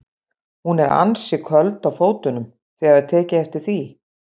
Hún er ansi köld á fótunum, þið hafið tekið eftir því?